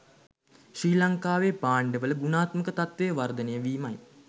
ශ්‍රී ලංකාවේ භාණ්ඩවල ගුණාත්මක තත්ත්ව වර්ධනය වීමයි.